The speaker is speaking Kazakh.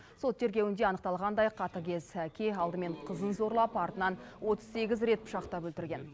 сот тергеуінде анықталғандай қатыгез әке алдымен қызын зорлап артынан отыз сегіз рет пышақтап өлтірген